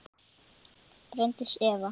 Bryndís Eva.